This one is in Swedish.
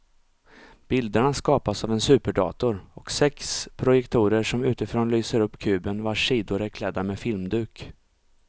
Bilderna skapas av en superdator och sex projektorer som utifrån lyser upp kuben vars sidor är klädda med filmduk.